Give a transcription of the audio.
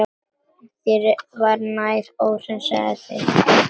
Þér var nær, óhræsið þitt.